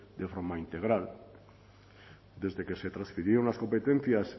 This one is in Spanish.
de forma integral desde que se transfirieron las competencias